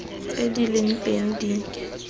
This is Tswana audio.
tse di leng teng di